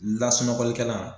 Lasunɔgɔlikɛlan